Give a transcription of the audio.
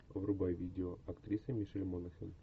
врубай видео актриса мишель монахэн